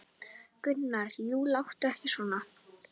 Gunnar: Jú, láttu ekki svona.